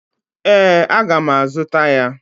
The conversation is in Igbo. Ee, aga m azuta ya.